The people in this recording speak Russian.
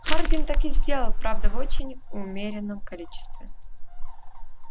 хардин так и сделал правда в очень умеренном количестве